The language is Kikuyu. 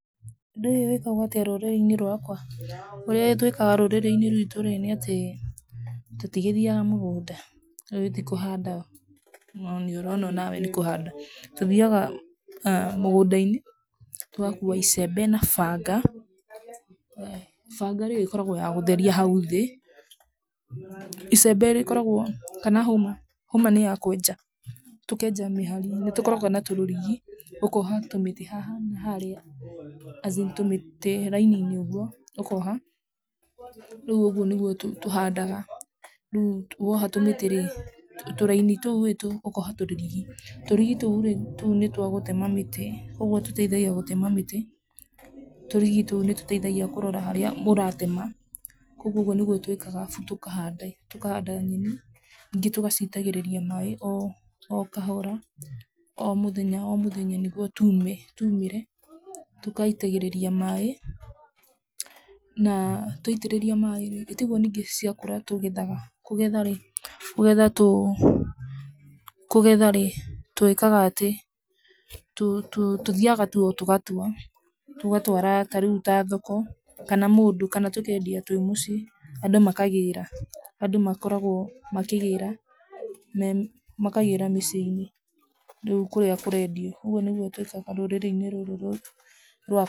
Ũndũ ũyũ wĩkagwo atĩa rũrĩrĩ-inĩ rwakwa? ũrĩa twĩkaga rũrĩrĩ-inĩ rwitũ nĩatĩ, tũtigĩthiaga mũgũnda, rĩu ĩti kũhanda, no nĩũrona onawe nĩkũhanda, tũthiaga mũgũnda-inĩ, tũgakua icembe na banga, banga rĩ, ĩkoragwo ya gũtheria hau thĩ, icembe rĩkoragwo rĩa, kana hũma, hũma nĩya kwenja, tũkenja mĩhari, nĩtũkoragwo na tũrũrigi, ũkoha tũmĩtĩ haha na harĩa, as in tũmĩtĩ raini-inĩ ũguo, ũkoha, rĩu ũguo nĩguo tũ tũhandaga, rĩu woha tũmĩtĩ rĩ, tũraini tũu ũkoha tũrũrigi, tũrigi tũu rĩ, tũu nĩtwa gũtema mĩtĩ, ũguo tũteithagia gũtema mĩtĩ, tũrigi tũu nĩtũteithagia kũrora harĩa ũratema, koguo ũguo nĩguo twĩkaga abu tũkahanda i tũkahanda nyeni, ningĩ tũgacitagĩrĩria maĩ o okahora, o mũthenya o mũthenya nĩguo tume tu mĩre, tũgaitagĩrĩria, maĩ, na twaitĩrĩria maĩ rĩ, ĩtiguo ningĩ ciakũra tũgethaga, kũgetha rĩ, kũgetha tũ, kũgetha rĩ, twĩkaga atĩ, tũ tũ tũthiaga tu tũgatua, tũgatwara tarĩu ta thoko, kana mũndũ, kana tũkendia twĩ mũciĩ, andũ makagĩra, andũ makoragwo makĩgĩra me makagĩra mĩciĩ-inĩ, rĩu kũrĩa kũrendio, ũguo nĩguo twĩkaga rũrĩrĩ-inĩ rũrũ rwakwa.